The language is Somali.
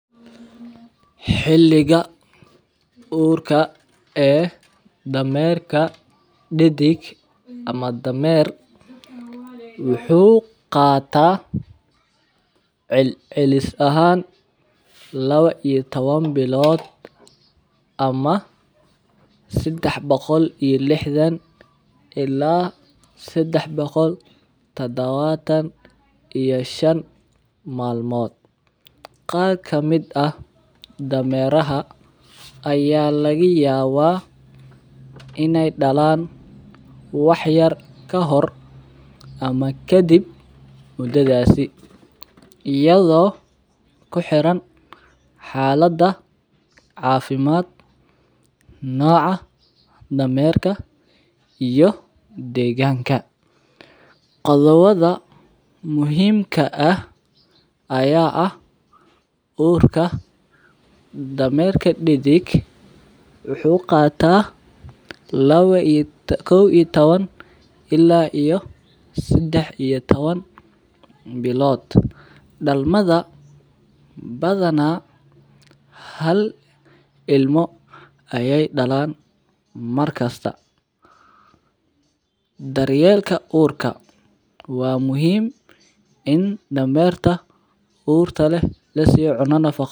Xiliga urka ee damerka didig ama damer wuxuu qata celis ahan lawa iyo tawan bilod ama sadax bilod ila sadex boqol tadawatan iyo shan mal mod, qar kamiid ah dameeraha aya laga yawa in ee dalan wax yar kahor ama dakib mudadhasi iyada oo ku xiran xalada cafimaad noca damerka iyo deganka qodobada deganka muhiim ka aya ah damerka didig wuxuu qataa kow iyo tawan ila sadax iyo tawan bilod, dalmaada badana hal ilmo ayey dalan mar kista, daryelka urka waa muhiim In damerka urka leh lasiyo cuno nafaqo leh.